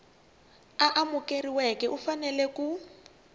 a amukeriweke u fanele ku